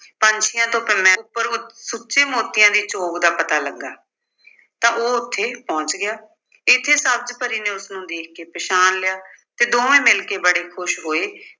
ਪੰਛੀਆਂ ਤੋਂ ਉੱਪਰ ਉੱ ਅਹ ਸੁੱਚੇ ਮੋਤੀਆਂ ਦੀ ਚੋਗ ਦਾ ਪਤਾ ਲੱਗਾ ਤਾਂ ਉਹ ਉੱਥੇ ਪਹੁੰਚ ਗਿਆ। ਇਸੇ ਸਬਜ਼ ਪਰੀ ਨੇ ਉਸਨੂੰ ਦੇਖ ਕੇ ਪਛਾਣ ਲਿਆ ਤੇ ਦੋਵੇਂ ਮਿਲ ਕੇ ਬੜੇ ਖੁਸ਼ ਹੋਏ